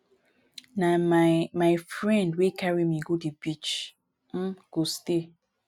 na my my friend wey carry me go the beach um go stay.